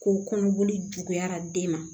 Ko kɔnɔboli juguyara den ma